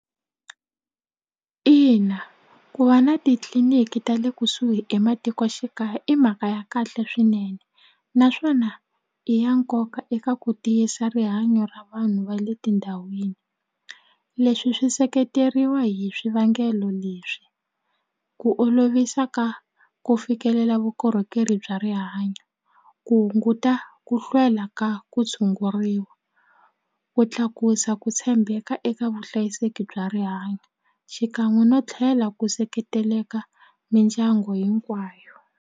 Ina ku va na titliliniki ta le kusuhi ematikoxikaya i mhaka ya kahle swinene naswona i ya nkoka eka ku tiyisa rihanyo ra vanhu va le tindhawini leswi swi seketeriwa hi swivangelo leswi ku olovisa ka ku fikelela vukorhokeri bya rihanyo ku hunguta ku hlwela ka ku tshunguriwa ku tlakusa ku tshembeka eka vuhlayiseki bya rihanyo xikan'we no tlhela ku seketeleka mindyangu hinkwayo.